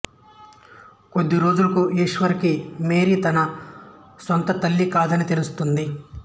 కొద్ది రోజులకు ఈశ్వర్ కి మేరీ తన సొంత తల్లి కాదని తెలుస్తుంది